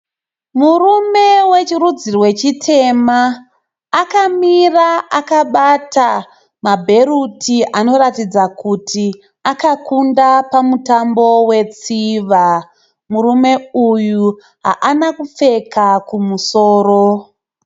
Murume wechirudzi rwechitema. Akamira akabata ma bhandi anoratidza kuti akakunda pamutambo wetsiva, Murume uyu haana kupfeka kumusoro.